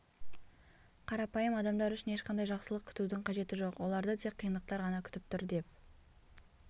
қарапайым адамдар үшін ешқандай жақсылық күтудің қажеті жоқ оларды тек қиындықтар ғана күтіп тұр деп